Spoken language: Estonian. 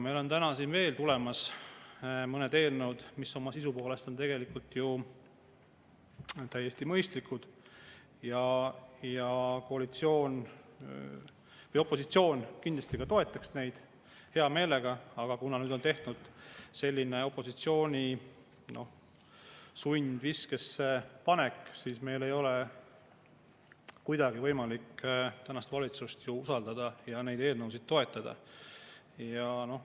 Meil on täna siia tulemas veel mõned eelnõud, mis oma sisu poolest on ju täiesti mõistlikud ja opositsioon kindlasti toetaks neid hea meelega, aga kuna nüüd on opositsioon sundviskesse pandud, siis kuna meil ei ole kuidagi võimalik tänast valitsust usaldada, ei saa me ka neid eelnõusid toetada.